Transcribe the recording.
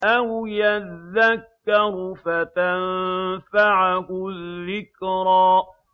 أَوْ يَذَّكَّرُ فَتَنفَعَهُ الذِّكْرَىٰ